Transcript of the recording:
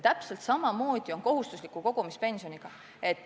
Täpselt samamoodi on kohustusliku kogumispensioniga.